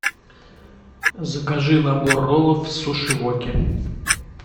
закажи набор роллов в суши воке